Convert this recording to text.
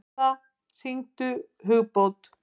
Martha, hringdu í Hugbót.